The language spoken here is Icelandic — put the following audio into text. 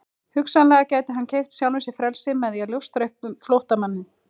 Hugsanlega gæti hann keypt sjálfum sér frelsi með því að ljóstra upp um flóttamanninn.